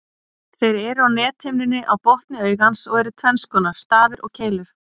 Þeir eru á nethimnunni á botni augans og eru tvenns konar, stafir og keilur.